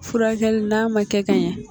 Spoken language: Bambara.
Furakɛli n'a ma kɛ ka ɲan.